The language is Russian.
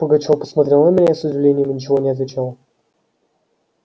пугачёв посмотрел на меня с удивлением и ничего не отвечал